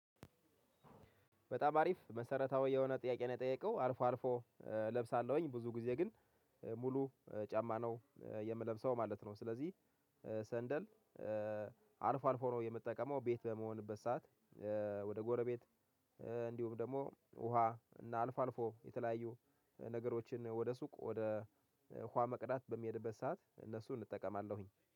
በጣም አሪፍ መሰረታዊ የሆነ ጥያቄ ነው የጠየቀው አልፎ አልፎ እለብሳለሁኝ ብዙ ጊዜ ግን ጫማ ነው የምለብሰው ማለት ነው። ስለዚህ ሰንደል አልፎ አልፎ ነው የምጠቀመው። ቤት በመሆንበት ሰዓት ወደ ጎረቤት እንዲሁም ደግሞ ውሃ እና አልፎ አልፎ የተለያዩ ነገሮችን ወደ ሱቅ ወደ ውሃ መቅዳት በሚሄድበት ሰዓት እነሱን እጠቀማለሁኝ